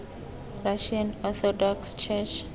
russian orthodox church